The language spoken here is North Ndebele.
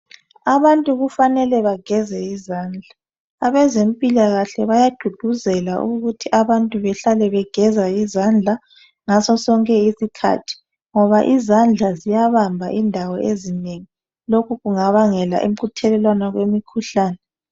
Abantu kumele bageze izandla. Abezempilakahle bayagqugquzela ukuthi abantu behlale begeza izandla ngaso sonke isikhathi ngoba izandla ziya bamba indawo ezinengi lokhu kungabangela ukuthelelwana kwemikhuhlane